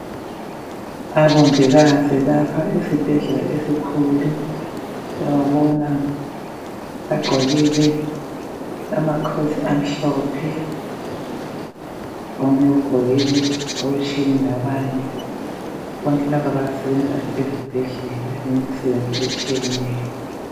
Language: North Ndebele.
Abongikazi bakha isibhedlela esikhulu. Siyabona bagqokile ama coat amhlophe. Omunye ugqokile okutshiyene labanye. Bonke laba basebenzisa ezibhedlela imisebenzi etshiyeneyo.